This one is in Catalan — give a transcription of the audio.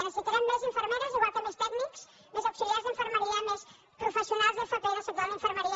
necessitarem més infermeres igual que més tècnics més auxiliars d’infermeria més professionals d’fp del sector de la infermeria